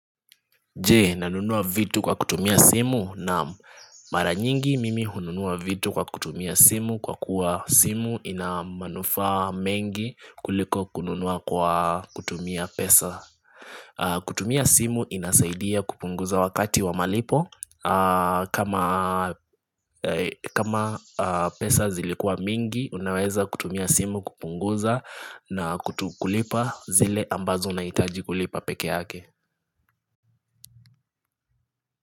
Je nanunua vitu kwa kutumia simu? Naam mara nyingi mimi hununua vitu kwa kutumia simu kwa kuwa simu ina manufaa mengi kuliko kununua kwa kutumia pesa. Kutumia simu inasaidia kupunguza wakati wa malipo kama kama pesa zilikuwa mingi unaweza kutumia simu kupunguza na kulipa zile ambazo unahitaji kulipa peke yake.